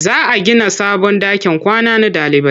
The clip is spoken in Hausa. Za a gina sabon ɗakin kwana na ɗalibai.